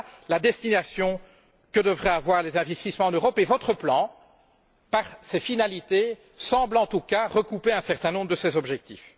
Voilà la destination que devraient avoir les investissements en Europe, et votre plan, par ses finalités, semble en tout cas recouper un certain nombre de ces objectifs.